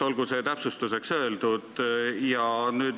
Olgu see täpsustuseks öeldud.